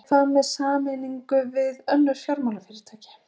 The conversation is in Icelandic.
En hvað með sameiningu við önnur fjármálafyrirtæki?